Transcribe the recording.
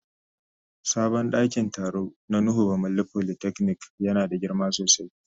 Sabon dakin taro na nuhu bamalli polytechnic yana da girma sosai.